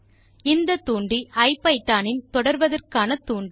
இந்த தூண்டி ஐபிதான் இன் தொடர்வதற்கான தூண்டி